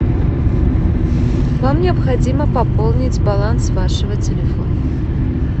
вам необходимо пополнить баланс вашего телефона